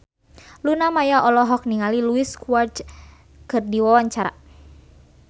Luna Maya olohok ningali Luis Suarez keur diwawancara